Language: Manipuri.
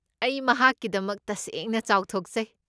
ꯑꯩ ꯃꯍꯥꯛꯀꯤꯗꯃꯛ ꯇꯁꯦꯡꯅ ꯆꯥꯎꯊꯣꯛꯆꯩ꯫